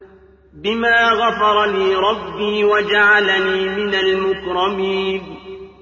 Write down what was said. بِمَا غَفَرَ لِي رَبِّي وَجَعَلَنِي مِنَ الْمُكْرَمِينَ